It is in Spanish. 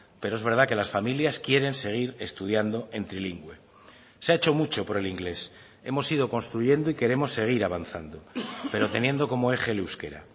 pero es verdad que las familias quieren seguir estudiando en trilingüe se ha hecho mucho por el inglés hemos ido construyendo y queremos seguir avanzando pero teniendo como eje el euskera